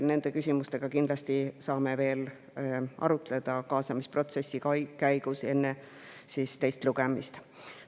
Neid küsimusi saame kaasamisprotsessi käigus enne teist lugemist kindlasti veel arutada.